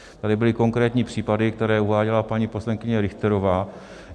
Tady byly konkrétní případy, které uváděla paní poslankyně Richterová.